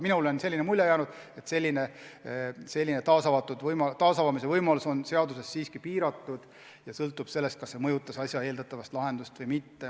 Minule on jäänud mulje, et taasavamise võimalus on seaduse kohaselt siiski piiratud ja sõltub sellest, kas kasutatud tõendid mõjutasid asja lahendust või mitte.